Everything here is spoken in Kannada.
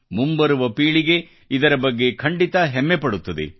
ಮುಂಬರುವ ಪೀಳಿಗೆ ಇದರ ಬಗ್ಗೆ ಖಂಡಿತ ಹೆಮ್ಮೆ ಪಡುತ್ತದೆ